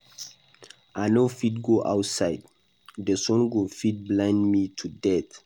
I no fit go outside, the sun go fit blind me to death